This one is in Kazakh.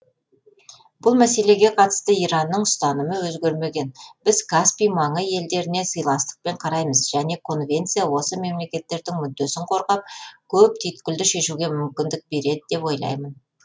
бұл мәселеге қатысты иранның ұстанымы өзгермеген біз каспий маңы елдеріне сыйластықпен қараймыз және конвенция осы мемлекеттердің мүддесін қорғап көп түйткілді шешуге мүмкіндік береді деп ойлаймын